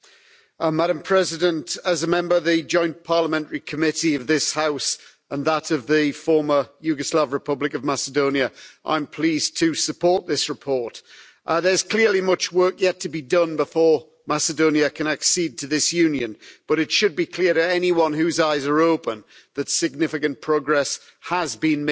Madam President, as a member of the Joint Parliamentary Committee of this House and that of the former Yugoslav Republic of Macedonia, I am pleased to support this report. There's clearly much work yet to be done before Macedonia can accede to this Union, but it should be clear to anyone whose eyes are open that significant progress has been made.